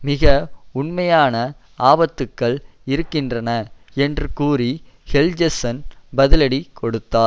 மிக உண்மையான ஆபத்துக்கள் இருக்கின்றன என்று கூறி ஹெல்ஜெஸ்ஸன் பதிலடி கொடுத்தார்